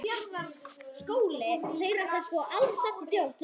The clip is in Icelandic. Fyrstu mánuðir í